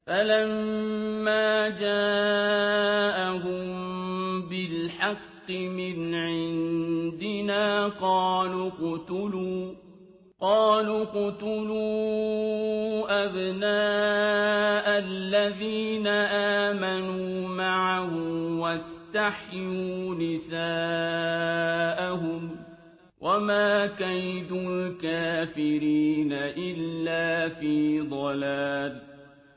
فَلَمَّا جَاءَهُم بِالْحَقِّ مِنْ عِندِنَا قَالُوا اقْتُلُوا أَبْنَاءَ الَّذِينَ آمَنُوا مَعَهُ وَاسْتَحْيُوا نِسَاءَهُمْ ۚ وَمَا كَيْدُ الْكَافِرِينَ إِلَّا فِي ضَلَالٍ